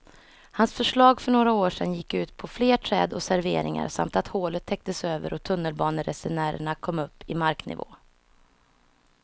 Hans förslag för några år sedan gick ut på fler träd och serveringar samt att hålet täcktes över och tunnelbaneresenärerna kom upp i marknivå.